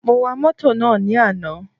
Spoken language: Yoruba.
Mo wa mótò náà ní àná.